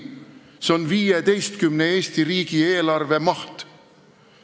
See on 15 Eesti riigieelarve maht.